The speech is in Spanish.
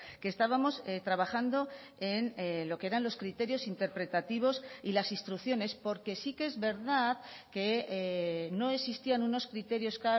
que estábamos trabajando en lo que eran los criterios interpretativos y las instrucciones porque sí que es verdad que no existían unos criterios